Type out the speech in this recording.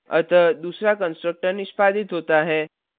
अतः दूसरा constructor निष्पादित होता है